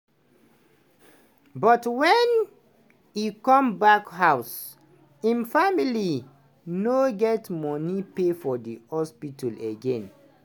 but wen e come back house im family no get money pay for hospital again.